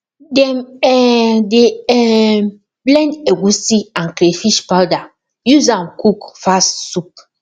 dem um dey um blend egusi and crayfish powder use am cook fast soup